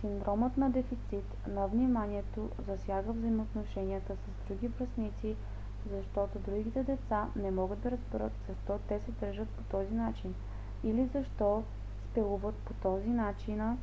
синдромът на дефицит на вниманието засяга взаимоотношенията с други връстници защото другите деца не могат да разберат защо те се държат по този начин или защо спелуват по този начина